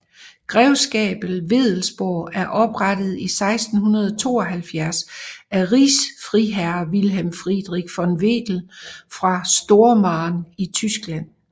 Grevskabet Wedellsborg er oprettet i 1672 af rigsfriherre Wilhelm Friedrich von Wedell fra Stormarn i Tyskland